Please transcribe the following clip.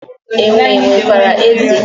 Enwe nwekwara ezé